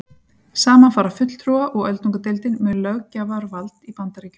Saman fara fulltrúa- og öldungadeildin með löggjafarvald í Bandaríkjunum.